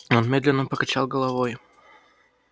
он медленно покачал головой